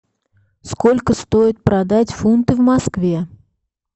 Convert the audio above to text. сколько стоит продать фунты в москве